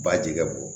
Ba jikɛ bɔ